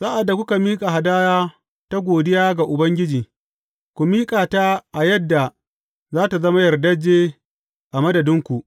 Sa’ad da kuka miƙa hadaya ta godiya ga Ubangiji, ku miƙa ta a yadda za tă zama yardajje a madadinku.